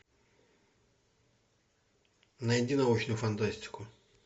найди научную фантастику